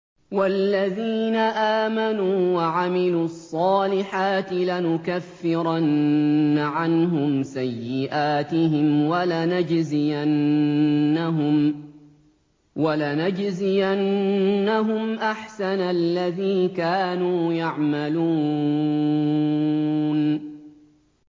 وَالَّذِينَ آمَنُوا وَعَمِلُوا الصَّالِحَاتِ لَنُكَفِّرَنَّ عَنْهُمْ سَيِّئَاتِهِمْ وَلَنَجْزِيَنَّهُمْ أَحْسَنَ الَّذِي كَانُوا يَعْمَلُونَ